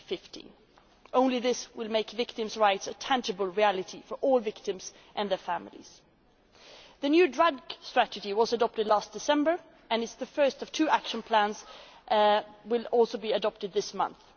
by 2015. Only this will make victims' rights a tangible reality for all victims and their families. The new Drugs Strategy was adopted last December and the first of two action plans will be adopted this